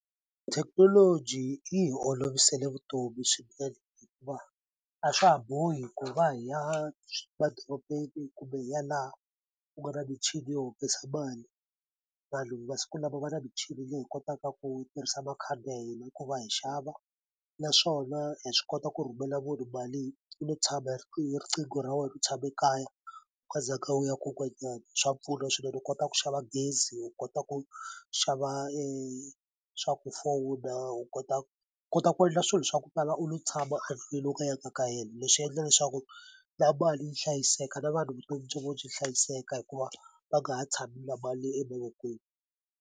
Thekinoloji yi hi olovisele vutomi swinene hikuva a swa ha bohi ku va hi ya madorobeni kumbe hi ya laha ku nga na michini yo humesa mali vanhu masiku lama va na michini leyi kotaka ku tirhisa makhadi ya hina ku va hi xava naswona hi swi kota ku rhumela munhu mali u lo tshama hi riqingho ra wena u tshame kaya u nga zanga u ya kun'wanyani swa pfuna swinene u kota ku xava gezi u kota ku xava swaku fowuna u kota kota ku endla swilo swa ku tala u lo tshama endlwini u nga yanga ka helo leswi endla leswaku na mali yi hlayiseka na vanhu vutomi bya vo byi hlayiseka hikuva va nga ha tshami na mali emavokweni.